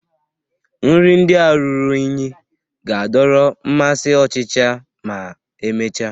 Nri ndị a ruru unyi ga-adọrọ mmasị ọchịcha ma emechaa